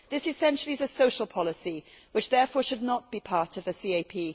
This essentially is a social policy which therefore should not be part of the CAP.